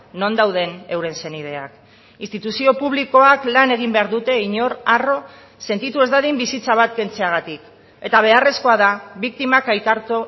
non dauden euren senideak instituzio publikoak lan egin behar dute inor harro sentitu ez dadin bizitza bat kentzeagatik eta beharrezkoa da biktimak aitortu